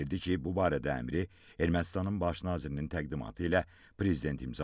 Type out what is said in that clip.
Bildirdi ki, bu barədə əmri Ermənistanın baş nazirinin təqdimatı ilə prezident imzalayıb.